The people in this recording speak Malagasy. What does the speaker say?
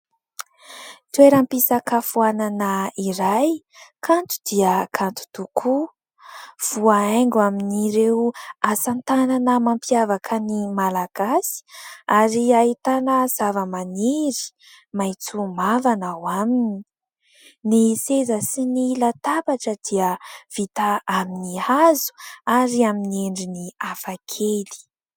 Toeram-pisakafoanana iray kanto dia kanto tokoa, voahaingo amin'ireo asatanana mampiavaka ny Malagasy ary ahitana zava-maniry maitso mavana ao aminy ; ny seza sy ny latabatra dia vita amin'ny hazo ary amin'ny endriny hafakely.